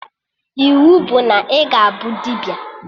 Iwu bụ na ị ga-abụ dibịa!